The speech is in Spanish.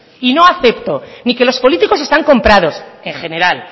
y no acepto ni que los políticos están comprados en general